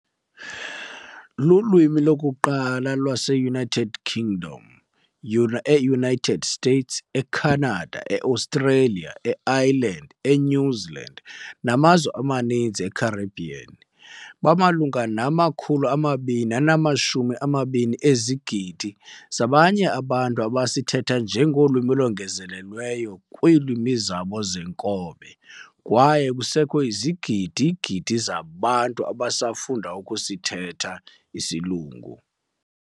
Lulwimi lokuqala lwaseUnited Kingdom, eUnited States, eCanada, eAustralia, eIreland, eNew Zealand namazwe amaninzi eCaribbean. Bamalunga nama-220 ezigidi zabanye abantu abasithetha njengolwimi olongezelelwa kwiilwimi zabo zeenkobe, kwaye kusekho izigidi-gidi zabantu abasafunda ukusithetha.